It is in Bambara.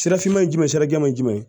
Sirafinma ye jumɛn ye sirajɛman ye jumɛn ye